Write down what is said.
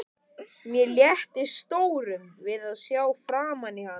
Mér létti stórum við að sjá framan í hana.